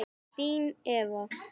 Þín, Eva.